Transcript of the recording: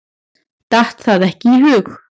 Datt það ekki í hug.